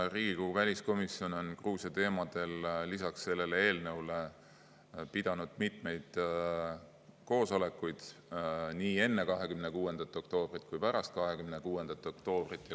Riigikogu väliskomisjon on Gruusia teemadel lisaks sellele eelnõule pidanud mitmeid koosolekuid nii enne 26. oktoobrit kui pärast 26. oktoobrit.